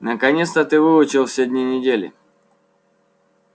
наконец-то ты выучил все дни недели